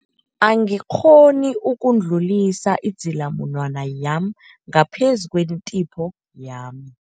Angikghoni ukudlulisa idzilamunwana yami ngaphezu kwentipho yami.